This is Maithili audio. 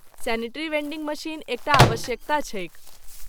सैनिटरी वेंडिंग मशीन एक टा आवश्यकता छैक।